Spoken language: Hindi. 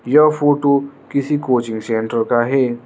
यह फोटो किसी कोचिंग सेंटर का है।